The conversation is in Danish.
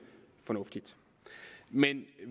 fornuftigt men